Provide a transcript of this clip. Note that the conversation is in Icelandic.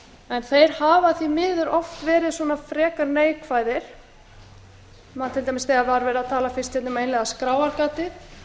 en þeir hafa því miður oft verið frekar neikvæðir til dæmis þegar verið var að tala fyrst um skráargatið